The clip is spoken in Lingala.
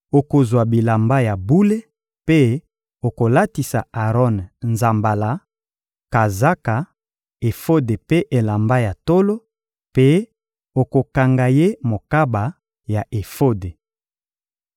Okozwa bilamba ya bule mpe okolatisa Aron nzambala, kazaka, efode mpe elamba ya tolo; mpe okokanga ye mokaba ya efode.